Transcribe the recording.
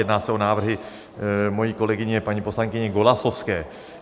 Jedná se o návrhy mojí kolegyně paní poslankyně Golasowské.